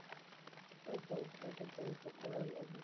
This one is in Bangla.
ঐ তো পেটের দায়ে তো করাই লাগে।